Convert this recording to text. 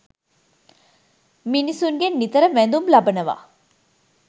මිනිසුන්ගෙන් නිතර වැඳුම් ලබනවා.